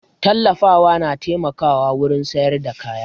Tallatawa na taimakawa wurin sayar da kaya